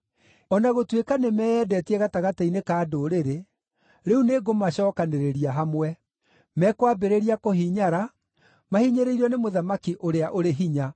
O na gũtuĩka nĩmeyendetie gatagatĩ-inĩ ka ndũrĩrĩ, rĩu nĩngũmacookanĩrĩria hamwe. Mekwambĩrĩria kũhinyara, mahinyĩrĩirio nĩ mũthamaki ũrĩa ũrĩ hinya.